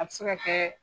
A bɛ se ka kɛ